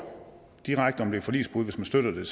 direkte om det er forligsbrud hvis man støtter det